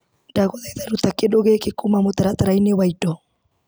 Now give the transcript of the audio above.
Ndagũthaitha ruta kĩndũ gĩkĩ kuma mũtaratara-inĩ wa indo.